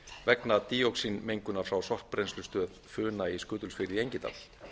vegna díoxínmengunar frá sorpbrennslustöðin funa í skutulsfirði í engidal